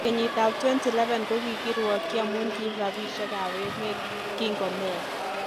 Kenyit ab 2011 kokirwokyi amun kiib rapishek kap emet kinko Meya.